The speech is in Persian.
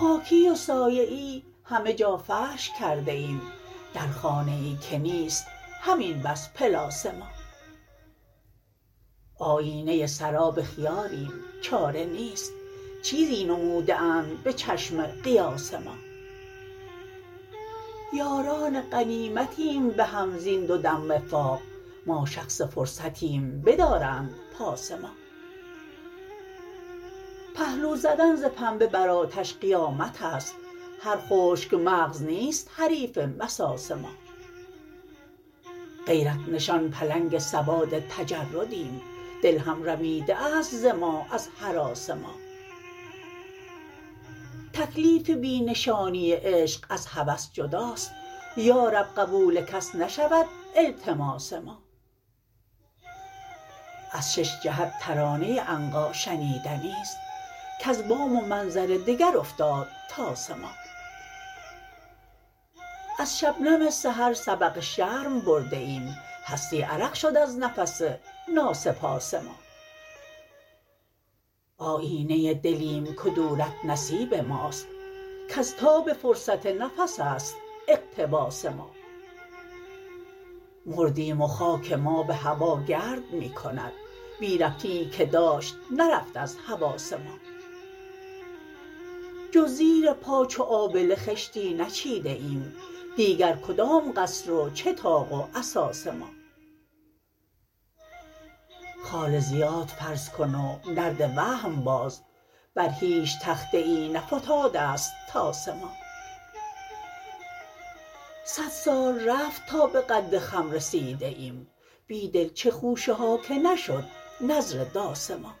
خاکی و سایه ای همه جا فرش کرده ایم در خانه ای که نیست همین بس پلاس ما آیینه سراب خیالیم چاره نیست چسزی نموده اند به چشم قیاس ما یاران غنیمتیم به هم زین دو دم وقاق ما شخص فرصتیم بدارند پاس ما پهلو زدن ز پنبه برآتش قیامت است هرخشک مغزنیست حریف مساس ما غیرت نشان پلنگ سواد تجردیم دل هم رمیده است ز ما از هراس ما تکلیف بی نشانی عشق از هوس جداست یارب قبول کس نشود التماس ما از ششجهت ترانه عنقا شنیدنی ست کز بام و منظر دگر افتاد طاس ما از شبنم سحر سبق شرم برده ایم هستی عرق شد از نفس ناسپاس ما آیینه دلیم کدورت نصیب ماست کز تاب فرصت نفس است اقتباس ما مردیم وخاک ما به هواگرد می کند بی ربطیی که داشت نرفت از حواس ما جز زیر پا چو آبله خشتی نچید ه ایم دیگرکدام قصر و چه طاق و اساس ما خال زیاد فرض کن و نرد وهم باز بر هیچ تخته ای نفتاده ست طاس ما صد سال رفت تا به قد خم رسیده ایم بیدل چه خوشه هاکه نشد نذر داس ما